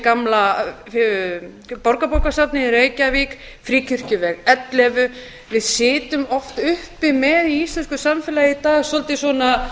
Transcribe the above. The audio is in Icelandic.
gamla borgarbókasafnið í reykjavík fríkirkjuveg ellefu við sitjum oft uppi með í íslensku samfélagi í dag svolítið svona